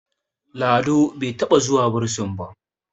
Lado bai taɓa zuwa bursin ba